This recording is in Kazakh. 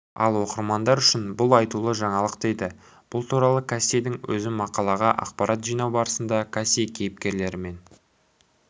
ал оқырмандар үшін бұл айтулы жаңалық дейді бұл туралы кассидің өзі мақалаға ақпарат жинау барысында касси кейіпкерлерімен